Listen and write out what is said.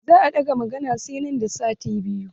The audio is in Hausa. Za a ɗaga maganan sai nan da sati biyu.